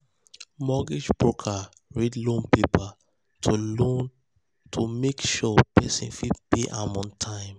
mortgage broker read loan paper to loan paper to make sure person fit pay am on time.